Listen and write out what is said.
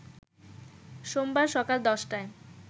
সোমবার সকাল ১০টায়